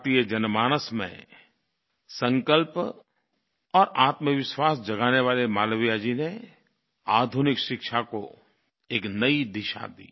भारतीय जनमानस में संकल्प और आत्मविश्वास जगाने वाले मालवीय जी ने आधुनिक शिक्षा को एक नई दिशा दी